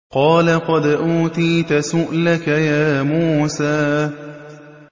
قَالَ قَدْ أُوتِيتَ سُؤْلَكَ يَا مُوسَىٰ